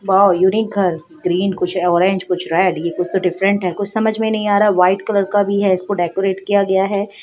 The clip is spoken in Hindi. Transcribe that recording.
वॉव उनीक् घर है ग्रीन कुछ ऑरेंज कुछ रेड ये कुछ तो डाइफेरेंट है कुछ समझ नहीं आ रहा वाइट कलर का भी है इसको डेकरेट किया--